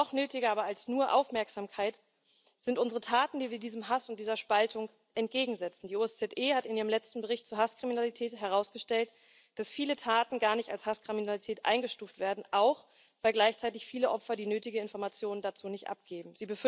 Noch nötiger aber als nur Aufmerksamkeit sind unsere Taten, die wir diesem Hass und dieser Spaltung entgegensetzen. Die OSZE hat in ihrem letzten Bericht zu Hasskriminalität herausgestellt, dass viele Taten gar nicht als Hasskriminalität eingestuft werden auch, weil gleichzeitig viele Opfer die nötigen Informationen dazu nicht abgeben.